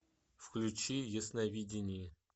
включи ясновидение